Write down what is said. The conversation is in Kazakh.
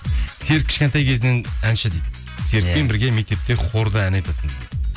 серік кішкентай кезінен әнші дейді серікпен бірге мектепте хорда ән айтатынбыз дейді